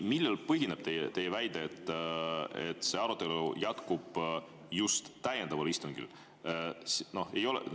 Millel põhineb teie väide, et arutelu jätkub just täiendaval istungil?